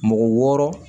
Mɔgɔ wɔɔrɔ